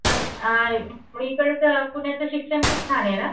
पण आ मग एकदाच पुण्याचं शिक्षण खूप छाने ना.